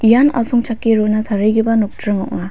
ian asongchake rona tarigipa nokdring ong·a.